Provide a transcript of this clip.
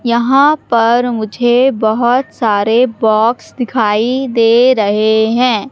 यहां पर मुझे बहोत सारे बॉक्स दिखाई दे रहे है।